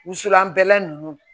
Wusulan bɛlɛ ninnu